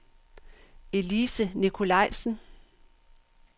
Elise Nicolajsen